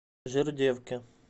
жердевке